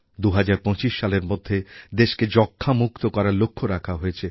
২০২৫ সালের মধ্যে দেশকে যক্ষ্মামুক্ত করার লক্ষ্য রাখা হয়েছে